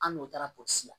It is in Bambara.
An n'o taara polisi